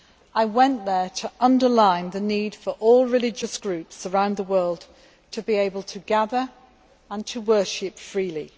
I went there to underline the need for all religious groups around the world to be able to gather and to worship freely.